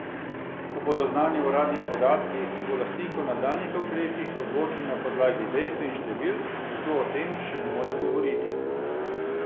Ko bodo znani uradni podatki, se bo lastnik o nadaljnjih ukrepih odločil na podlagi dejstev in številk, zato o tem še ne more govoriti.